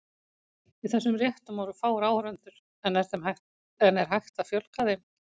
Í þessum réttum voru fáir áhorfendur, en er hægt að fjölga þeim?